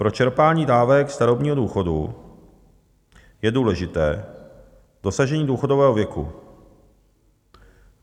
Pro čerpání dávek starobního důchodu je důležité dosažení důchodového věku.